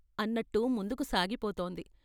" అన్నట్టు ముందుకు సాగిపోతోంది.